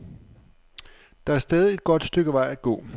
Der er stadig et godt stykke vej at gå.